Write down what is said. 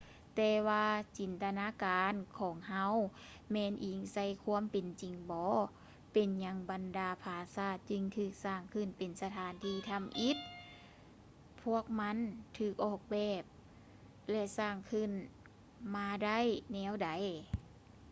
ແຕ່ວ່າຈິນຕະນາການຂອງເຮົາແມ່ນອີງໃສ່ຄວາມເປັນຈິງບໍ ເປັນຫຍັງບັນດາຜາສາດຈຶ່ງຖືກສ້າງຂຶ້ນເປັນສະຖານທີ່ທຳອິດ ພວກມັນຖືກອອກແບບ ແລະ ສ້າງຂຶ້ນມາໄດ້ແນວໃດ